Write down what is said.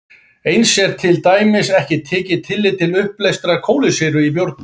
Eins er hér til dæmis ekki tekið tillit til uppleystrar kolsýru í bjórnum.